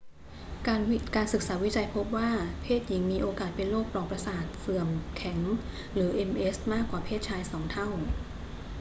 การศึกษาวิจัยพบว่าเพศหญิงมีโอกาสเป็นโรคปลอกประสาทเสื่อมแข็งหรือ ms มากกว่าเพศชายสองเท่า